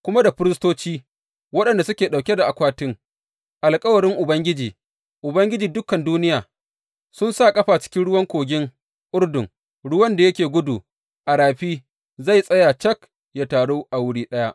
Kuma da firistoci waɗanda suke ɗauke da akwatin alkawarin Ubangiji, Ubangiji dukan duniya, sun sa ƙafa cikin ruwan kogin Urdun, ruwan da yake gudu a rafin zai tsaya cik yă taru a wuri ɗaya.